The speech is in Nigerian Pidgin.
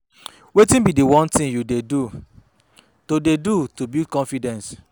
Wetin be di one thing you dey do to dey do to build confidence?